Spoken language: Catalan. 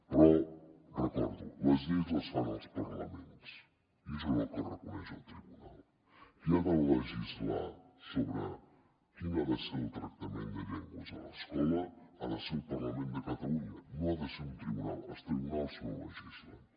però ho recordo les lleis les fan els parlaments i això és el que reconeix el tribunal qui ha de legislar sobre quin ha de ser el tractament de llengües a l’escola ha de ser el parlament de catalunya no ha de ser un tribunal els tribunals no legislen